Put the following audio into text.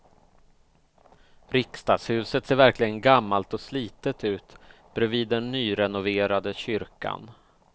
Riksdagshuset ser verkligen gammalt och slitet ut bredvid den nyrenoverade kyrkan.